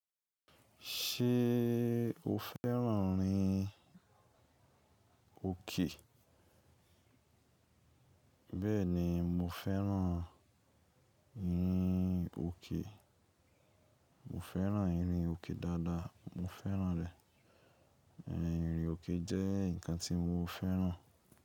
Ṣé o fẹ́ràn ìrìn òkè? Bẹ́ẹ̀ni, mo fẹ́ràn ìrìn òkè. Mo fẹ́ràn ìrìn òkè dáa dáa. Mo fẹ́ràn rẹ̀. Ìrìn òkè jẹ́ nǹkan tí mo fẹ́ràn.